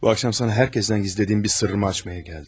Bu axşam sənə hər kəsdən gizlədiyim bir sırrımı açmağa gəldim.